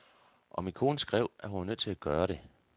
Og min kone skrev, at hun var nødt til at gøre det.